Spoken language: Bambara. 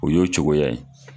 O y'o cogoya ye